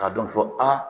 K'a dɔn ko aa